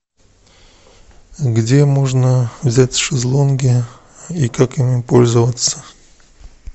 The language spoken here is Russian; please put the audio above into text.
где можно взять шезлонги и как ими пользоваться